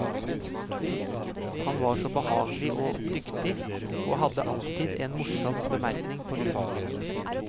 Han var så behagelig og dyktig, og hadde alltid en morsom bemerkning på lur.